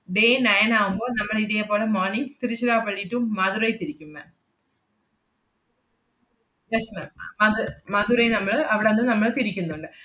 day nine ആവുമ്പോ നമ്മളിതേ പോലെ morning തിരുച്ചിറപ്പളളി to മധുരൈ തിരിക്കും ma'am. yes ma'am അത് മധുരൈ നമ്മള് അവടന്ന് നമ്മള്‍ തിരിക്കുന്നുണ്ട്.